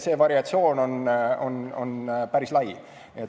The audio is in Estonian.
See variatsioon on päris lai.